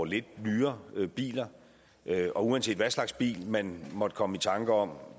lidt nyere biler og uanset hvilken slags bil man måtte komme i tanker om